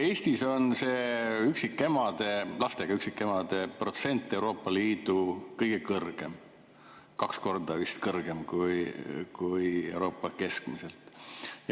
Eestis on lastega üksikemade protsent Euroopa Liidu kõige kõrgem, vist kaks korda kõrgem kui Euroopas keskmiselt.